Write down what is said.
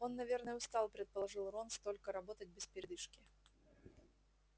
он наверное устал предположил рон столько работать без передышки